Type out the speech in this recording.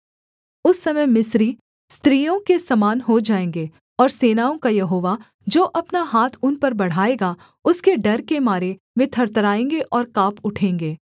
उस समय मिस्री स्त्रियों के समान हो जाएँगे और सेनाओं का यहोवा जो अपना हाथ उन पर बढ़ाएगा उसके डर के मारे वे थरथराएँगे और काँप उठेंगे